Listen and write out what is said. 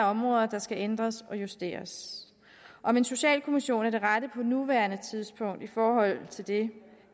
områder der skal ændres og justeres om en socialkommission er det rette på nuværende tidspunkt i forhold til det